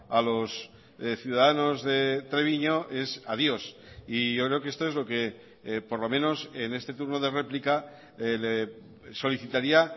a los ciudadanos de treviño es adiós y yo creo que esto es lo que por lo menos en este turno de réplica le solicitaría